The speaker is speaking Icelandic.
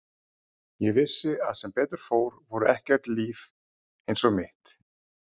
Ég vissi að sem betur fór voru ekki öll líf eins og mitt.